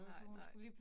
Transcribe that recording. Nej nej